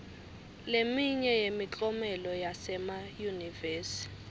leminye yemiklomelo yasemayunivesi